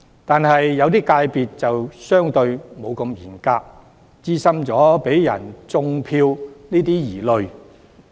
然而，某些界別則相對上沒那麼嚴格，因而產生有人"種票"的疑慮。